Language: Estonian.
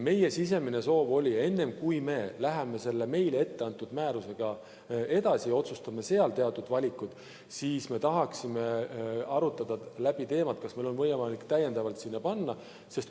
Meie sisemine soov oli, et enne, kui läheme selle meile etteantud määrusega edasi ja teeme seal teatud valikud, me tahaksime läbi arutada, kas meil on võimalik täiendavalt panustada.